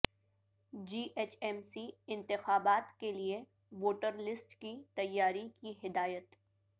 جی H M C انتخابات کیلئے voter list کی تیاری کی ہدایت